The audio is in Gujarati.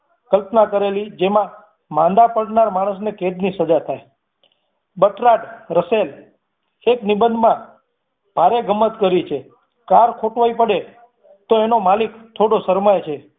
કલ્પના કરેલી જેમાં માંદા પડનાર માણસ ને કૈદ ની સજા થાય berthrad russell એક નિબંધમાં ભારે ગમત કરી છે કાર ખોટવાઈ પડે તો એનો માલિક થોડો શરમાય છે